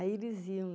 Aí eles iam lá.